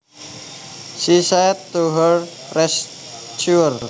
she said to her rescuer